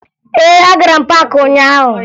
Ee, agara m paakị ụnyaahụ